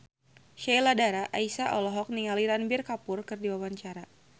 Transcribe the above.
Sheila Dara Aisha olohok ningali Ranbir Kapoor keur diwawancara